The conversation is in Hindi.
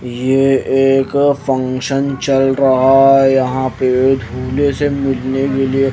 ये एक फंक्शन चल रहा है यहां पे झूले से --